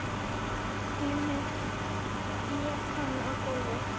Emil lét hann á gólfið.